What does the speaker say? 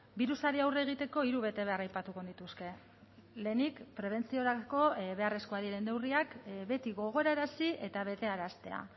birusari aurre egiteko hiru betebehar aipatuko nituzke lehenik prebentziorako beharrezkoak diren neurriak beti gogorarazi eta betearaztea